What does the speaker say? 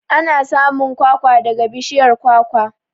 Ana samun kwakwa daga bishiyar kwakwa.